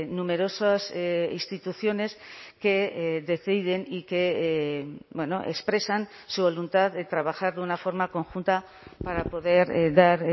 numerosas instituciones que deciden y que expresan su voluntad de trabajar de una forma conjunta para poder dar